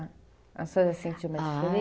A senhora sentiu uma diferença? Ah